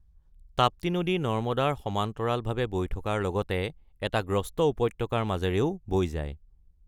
তাপ্তি নদী নৰ্মদাৰ সমান্তৰালভাৱে বৈ থকাৰ লগতে এটা গ্ৰস্ত উপত্যকাৰ মাজেৰেও বৈ যায়।